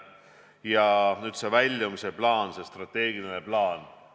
Ja nüüd sellest väljumise plaanist, sellest strateegilisest plaanist.